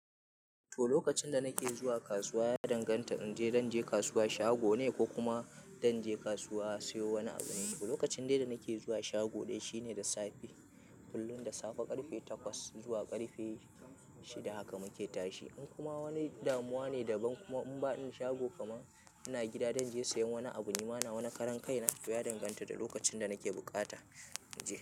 To, lokacin danake zuwa kasuwa ya danganta inje, zanje kasuwa shagone ko kuma zan je kasuwa siyo wani abu ne. T lokacin dai danake zuwa shago dai shine da safe kullum da safe karfe takwas zuwa karfe shida haka muke tashi. In kuma wani damuwa ne daban kuma in ba in shago kaman ina gida danje sayen wani abu, nima nawa na karan kaina. Toya danganta da lokacin danake buƙata inje.